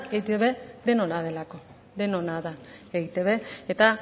eitb denona delako denona da eitb eta